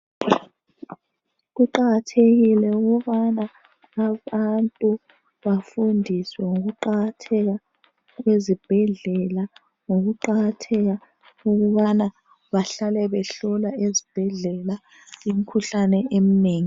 Kuqakathekile ukubana abantu bafundiswe ngokuqakatheka kwezibhedlela. Ngokuqakatheka ukubana bahlale behlolwa ezibhedlela imikhuhlane eminengi.